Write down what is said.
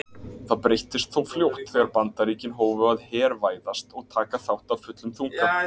Það breyttist þó fljótt þegar Bandaríkin hófu að hervæðast og taka þátt af fullum þunga.